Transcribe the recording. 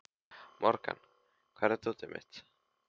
Morgan, hvar er dótið mitt?